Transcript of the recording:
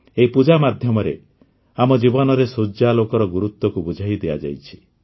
ଏହି ପୂଜା ମାଧ୍ୟମରେ ଆମ ଜୀବନରେ ସୂର୍ଯ୍ୟାଲୋକର ଗୁରୁତ୍ୱକୁ ବୁଝାଇ ଦିଆଯାଇଛି